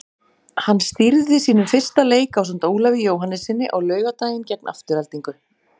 Hann stýrði sínum fyrsta leik ásamt Ólafi Jóhannessyni á laugardaginn gegn Aftureldingu.